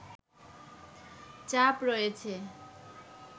চাপ রয়েছে